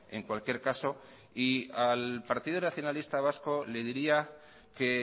en cualquier caso y al partido nacionalista vasco le diría que